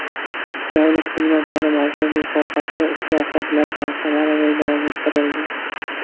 Davlat xizmatlari markazlari sohasida islohotlar ham samarali davom ettirildi.